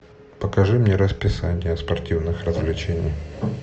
покажи мне расписание спортивных развлечений